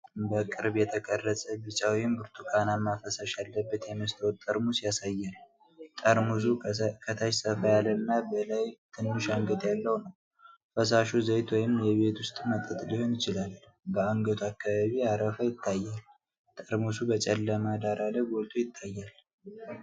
በቅርብ የተቀረፀ ቢጫ ወይም ብርቱካንማ ፈሳሽ ያለበት የመስታወት ጠርሙስ ያሳያል። ጠርሙሱ ከታች ሰፋ ያለና በላይ ትንሽ አንገት ያለው ነው። ፈሳሹ ዘይት ወይም የቤት ውስጥ መጠጥ ሊሆን ይችላል፤ በአንገቱ አካባቢ አረፋ ይታያል። ጠርሙሱ በጨለማ ዳራ ላይ ጎልቶ ይታያል።